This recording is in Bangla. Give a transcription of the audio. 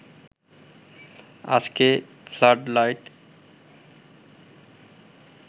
আজকে ফ্লাড লাইট